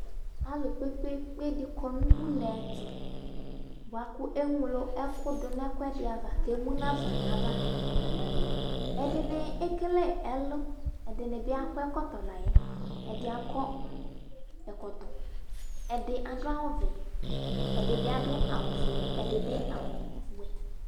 Alʋ kpe-kpe-kpe dɩ kɔ nʋ une ɛtʋ bʋa kʋ eŋlo ɛkʋ dʋ ɛkʋɛdɩ ava kʋ emu nafa nʋ ava Ɛdɩnɩ ekele ɛlʋ Ɛdɩnɩ akɔ ɛkɔtɔ la yɛ Ɛdɩ akɔ ɛkɔtɔ Ɛdɩ adʋ awʋvɛ Ɛdɩ bɩ adʋ awʋfuele, ɛdɩ bɩ awʋwɛ